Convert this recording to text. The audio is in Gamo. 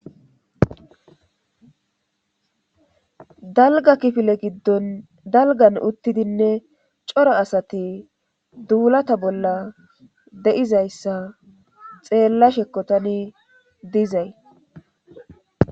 Dalga kifile giddon dalgan uttidinne cora asati duulata bolla de7izayssa xeella shekkotani dizay.